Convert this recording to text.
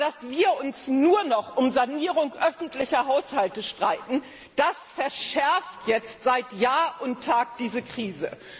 Aber dass wir uns nur noch um die Sanierung öffentlicher Haushalte streiten, das verschärft jetzt seit Jahr und Tag diese Krise.